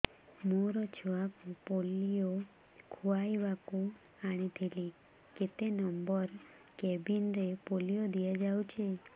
ମୋର ଛୁଆକୁ ପୋଲିଓ ଖୁଆଇବାକୁ ଆଣିଥିଲି କେତେ ନମ୍ବର କେବିନ ରେ ପୋଲିଓ ଦିଆଯାଉଛି